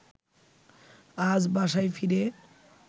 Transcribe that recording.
আজ বাসায় ফিরে